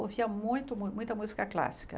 ouvia muito mu muita música clássica.